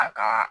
A ka